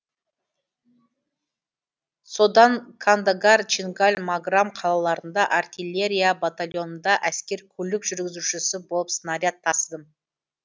содан кандагар чингаль маграм қалаларында артиллерия батальонында әскер көлік жүргізушісі болып снаряд тасыдым